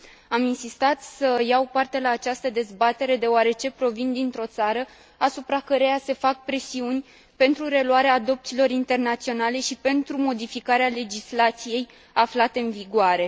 Am insistat să iau parte la această dezbatere, deoarece provin dintr o țară asupra căreia se fac presiuni pentru reluarea adopțiilor internaționale și pentru modificarea legislației aflate în vigoare.